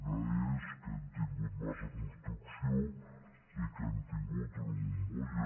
una és que hem tingut massa construcció i que hem tingut una bombolla